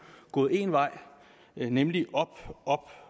gået én vej nemlig opad